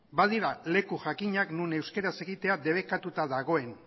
badira leku jakinak non euskaraz jakitea debekatuta dagoen